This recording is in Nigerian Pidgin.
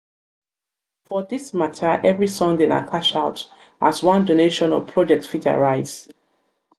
for dis mata evri sunday na cashout as as one donation or project fit arise